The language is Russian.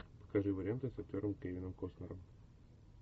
покажи варианты с актером кевином костнером